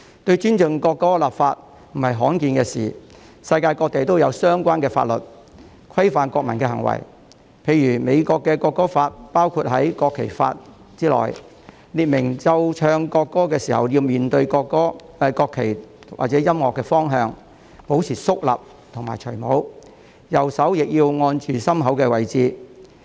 就尊重國歌立法並非罕見的事情，世界各地都有相關法律，規範國民的行為，例如美國的國歌法是包括在國旗法之中，列明奏唱國歌時要面對國旗或者播放音樂的方向，保持肅立和脫下帽子，右手亦要按着心口位置。